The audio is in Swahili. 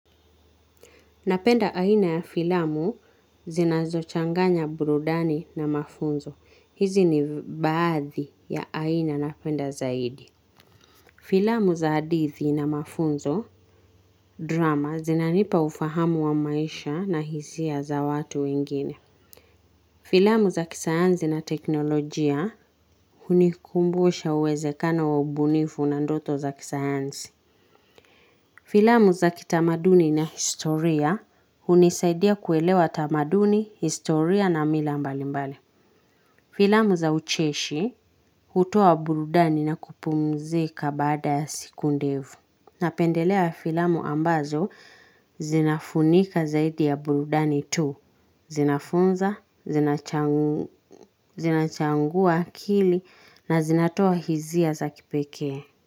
Napenda aina ya filamu zinazochanganya burudani na mafunzo. Hizi ni baadhi ya aina napenda zaidi. Filamu za hadithi na mafunzo drama zinanipa ufahamu wa maisha na hisia za watu wengine. Filamu za kisayanzi na teknolojia hunikumbusha uwezekano wa ubunifu na ndoto za kisayansi. Filamu za kitamaduni na historia hunisaidia kuelewa tamaduni, historia na mila mbali mbali. Filamu za ucheshi hutua burudani na kupumzika baada ya siku ndefu. Napendelea filamu ambazo zinafunika zaidi ya buludani tu. Zinafunza, zinachangua akili na zinatoa hisia za kipekee.